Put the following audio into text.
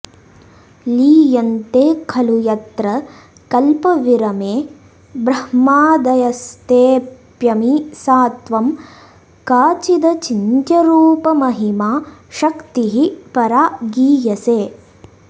लीयन्ते खलु यत्र कल्पविरमे ब्रह्मादयस्तेऽप्यमी सा त्वं काचिदचिन्त्यरूपमहिमा शक्तिः परा गीयसे